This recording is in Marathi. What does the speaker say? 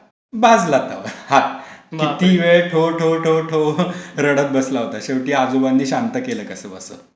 भाजला तवा. हात. कितिवेळ ठो, ठो, ठो, ठो. रडत बसला होता. शेवटी आजोबांनी शांत केलं कसं बसं.